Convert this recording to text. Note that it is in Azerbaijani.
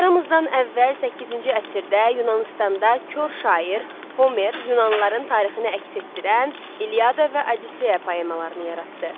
Eramızdan əvvəl 8-ci əsrdə Yunanıstanda kor şair Homer Yunanlıların tarixini əks etdirən İliada və Odisseya poemalarını yaratdı.